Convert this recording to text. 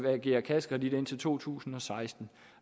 agere kassekredit indtil to tusind og seksten